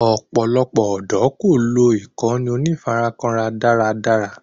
Ọ̀pọ̀lọpọ̀ ọ̀dọ́ kò lò ìkànnì onífarakínra dára dára